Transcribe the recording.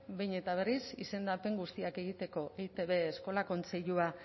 behin eta berriz izendapen guztiak egiteko eitb eskola kontseilua